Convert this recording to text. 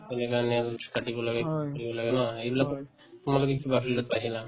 কৰিব লাগে ন এইবিলাকে ন এইবিলাকতো তোমালোকে কিবা field ত পাইছিলা